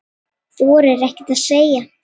Þorir ekkert að segja.